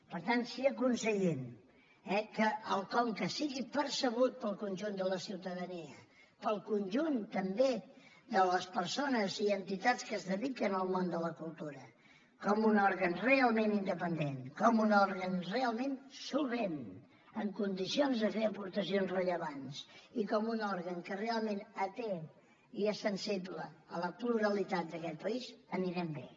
per tant si aconseguim eh que el conca sigui percebut pel conjunt de la ciutadania pel conjunt també de les persones i entitats que es dediquen al món de la cultura com un òrgan realment independent com un òrgan realment solvent amb condicions de fer aportacions rellevants i com un òrgan que realment atén i és sensible a la pluralitat d’aquest país anirem bé